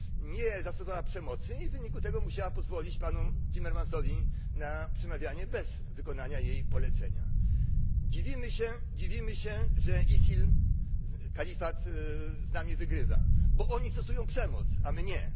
Nie zastosowała przemocy i w wyniku tego musiała pozwolić panu Timmermansowi na przemawianie bez wykonania jej polecenia. Dziwimy się, że ISIL kalifat z nami wygrywa. Wygrywa, bo oni stosują przemoc, a my nie.